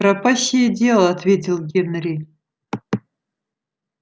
пропащее дело ответил генри